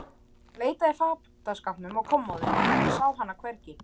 Hann leitaði í fataskápnum og kommóðunni, en sá hana hvergi.